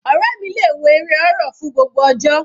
Ọ̀rẹ́ mi le wo eré horror fún gbogbo ọjọ́.